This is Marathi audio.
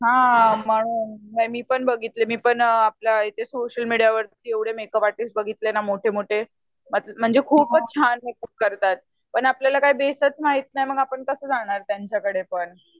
हा म्हणून नाय मी पण बघितले मी पण आपल्या सोसीअल मिडिया वरती एवडे मेकप आर्टिस्ट बघितले ना एवढे मोठे मोठे म्हणजे खूपच छान मेकप करतात पण आपल्याला बेसच माहित नाही तर आपण कस जाणार त्यांच्या कडे पण